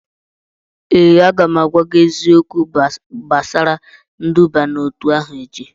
ee, a ga m agwa gị eziokwu gbasara nduba n'otu ahụ echi